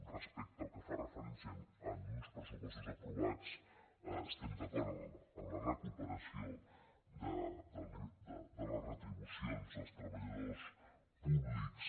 respecte al que fa referència a uns pres·supostos aprovats estem d’acord en la recuperació de les retribucions dels treballadors públics